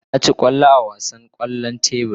Na ci kwallo a wasan kwallon tebur.